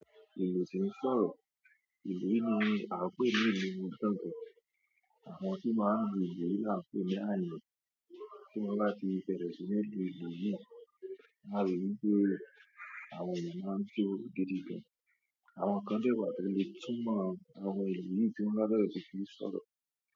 Ìlú tí ń sọ̀rọ̀. Ìlú yi ni a ń pè ní ìlú gangan. Àwọn tí máa n lu ìlú yi ni a ń pè ní àyàn. Tí wọ́n báti bẹ̀rẹ̀ sí ní lu ìlú yi, ao ri wípé àwọn èeyàn maa ń jó gidi gan. Àwọn kan de wá tole túmọ̀ àwọn ohun ìlú yi tí wọ́n bá fe ro pe kìí sọ̀rọ̀.